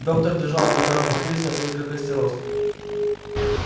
доктор держала в руках бутыль с наклейкой костерост